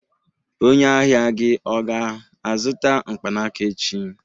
Onye ahịa gị ọ ga-azụta mkpanaka echi?